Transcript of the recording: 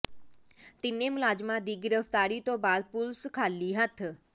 ਤਿੰਨੇ ਮੁਲਜ਼ਮਾਂ ਦੀ ਗਿ੍ਰਫ਼ਤਾਰੀ ਤੋਂ ਬਾਅਦ ਪੁਲਸ ਖ਼ਾਲੀ ਹੱਥ